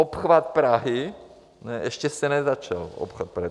Obchvat Prahy ještě se nezačal, obchvat Prahy.